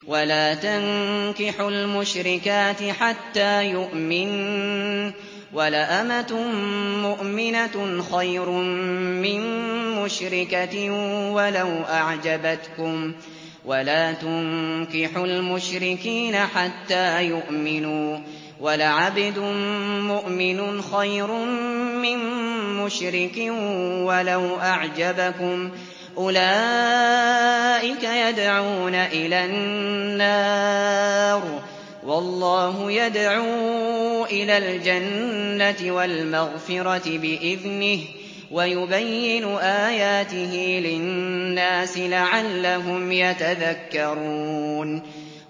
وَلَا تَنكِحُوا الْمُشْرِكَاتِ حَتَّىٰ يُؤْمِنَّ ۚ وَلَأَمَةٌ مُّؤْمِنَةٌ خَيْرٌ مِّن مُّشْرِكَةٍ وَلَوْ أَعْجَبَتْكُمْ ۗ وَلَا تُنكِحُوا الْمُشْرِكِينَ حَتَّىٰ يُؤْمِنُوا ۚ وَلَعَبْدٌ مُّؤْمِنٌ خَيْرٌ مِّن مُّشْرِكٍ وَلَوْ أَعْجَبَكُمْ ۗ أُولَٰئِكَ يَدْعُونَ إِلَى النَّارِ ۖ وَاللَّهُ يَدْعُو إِلَى الْجَنَّةِ وَالْمَغْفِرَةِ بِإِذْنِهِ ۖ وَيُبَيِّنُ آيَاتِهِ لِلنَّاسِ لَعَلَّهُمْ يَتَذَكَّرُونَ